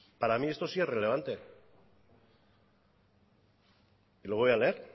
para mí esto sí es relevante y lo voy a leer